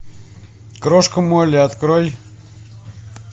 крошка молли открой